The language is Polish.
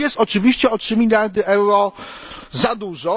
To jest oczywiście o 3 mld euro za dużo.